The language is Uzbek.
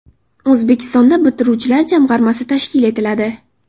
O‘zbekistonda bitiruvchilar jamg‘armasi tashkil etiladi.